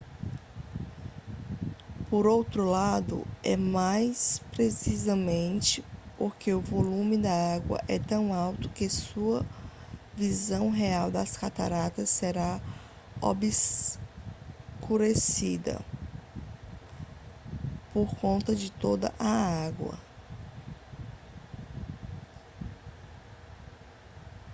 por outro lado é mais precisamente porque o volume de água é tão alto que sua visão real das cataratas será obscurecida por conta de toda a água